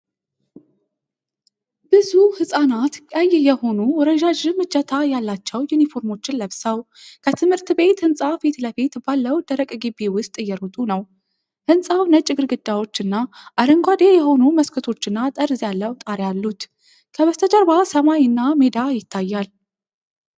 ብዙ ሕጻናት ቀይ የሆኑ ረዣዥም እጀታ ያላቸው ዩኒፎርሞችን ለብሰው፣ ከትምህርት ቤት ህንፃ ፊትለፊት ባለው ደረቅ ግቢ ውስጥ እየሮጡ ነው። ህንፃው ነጭ ግድግዳዎች እና አረንጓዴ የሆኑ መስኮቶችና ጠርዝ ያለው ጣሪያ አሉት። ከበስተጀርባ ሰማይ እና ሜዳ ይታያል።